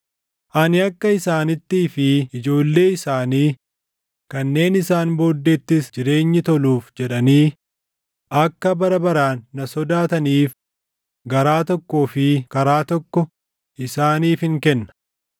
Ani akka isaanittii fi ijoollee isaanii kanneen isaan booddeettis jireenyi toluuf jedhanii akka bara baraan na sodaataniif garaa tokkoo fi karaa tokko isaaniifin kenna.